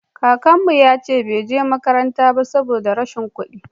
kakanmu ya ce bai je makaranta ba saboda rashin kuɗi